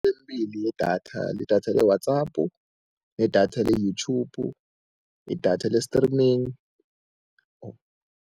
Emibili yedatha lidatha le-WhatsApp nedatha le-YouTube, idatha le-streaming.